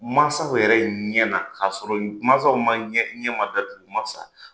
Mansaw yɛrɛ ɲɛ na k'a sɔrɔ mansaw ma ɲɛ ma datugu u ma sa.